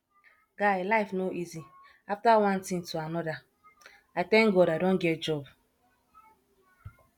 guy life no easy after one thing to another i thank god i don get job